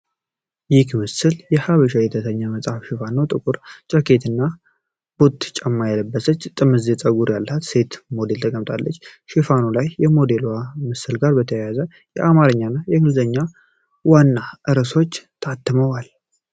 ይህ ምስል የ"ሃበሻ" የተሰኘ መጽሔት ሽፋን ነው። ጥቁር ጃኬትና ቦት ጫማ የለበሰች፣ ጥምዝ ፀጉር ያላት ሴት ሞዴል ተቀምጣለች። ሽፋኑ ላይ ከሞዴሏ ምስል ጋር በተያያዘ የአማርኛና የእንግሊዝኛ ዋና ርዕሶች ታትመዋል።